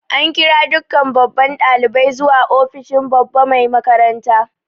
An kira dukkan babban dalibai zuwa ofishin babba Mai makaranta.